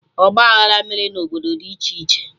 Ọgba aghara mere na obodo dị iche iche